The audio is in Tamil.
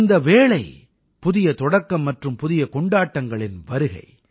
இந்த வேளை புதிய தொடக்கம் மற்றும் புதிய கொண்டாட்டங்களின் வருகை